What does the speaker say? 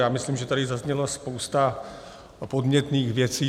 Já myslím, že tady zazněla spousta podnětných věcí.